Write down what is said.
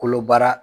Kolo baara